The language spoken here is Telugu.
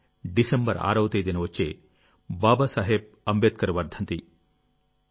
అది డిసెంబర్ 6వ తేదీన వచ్చే బాబాసాహెబ్ అంబేద్కర్ వర్ధంతి